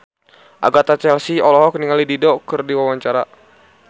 Agatha Chelsea olohok ningali Dido keur diwawancara